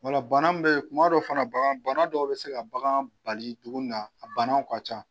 O la ban min bɛ yen, kuma dɔ fana na, bagan bana dɔw bɛ se ka bagan bali dumuni na a banaw ka ca.